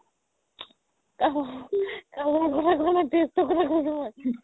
taste ৰ কথা কৈছো মই